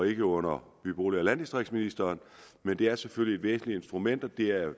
ikke under by bolig og landdistriktsministeren men det er selvfølgelig et vigtigt instrument og det er